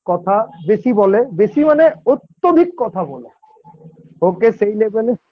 কথা বেশি বলে বেশি মানে অত্যধিক কথা বলে ওকে সেই Level -এ